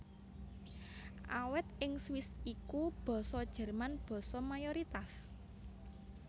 Awit ing Swiss iku Basa Jerman basa mayoritas